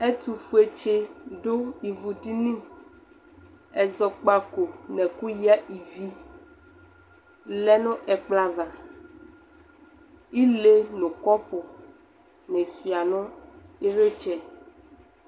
Ɛtʋfuetsɩ dʋ livudini ,ɛzɔkpako n'ɛkʋyǝ ivi lɛ nʋ ɛkplɔ ava Ile nʋ kɔpʋnɩ sʋɩa nʋ ɩlpɩtsɛ